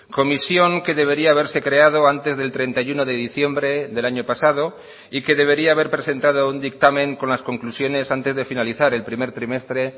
comisión que debería haberse creado antes del treinta y uno de diciembre del año pasado y que debería haber presentado un dictamen con las conclusiones antes de finalizar el primer trimestre